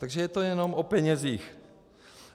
Takže je to jenom o penězích.